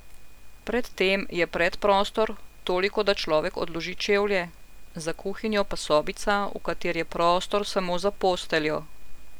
Pred tem je predprostor, toliko da človek odloži čevlje, za kuhinjo pa sobica, v kateri je prostor samo za posteljo.